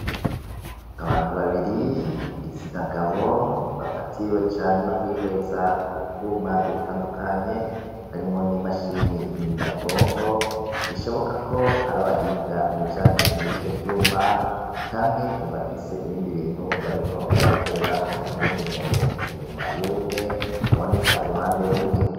Abantu babiri, igitsina gabo, bafatiriwe cane no kwihweza utwuma dutandukanye harimwo n'imashini nyabwonko bishoboka ko ari abahinga mu bijanye n'ivyo vyuma canke bafise ibindi bintu bariko barabikorerako. Hariho n'uwundi muntu inyuma y'umwe aboneka uruhande rumwe.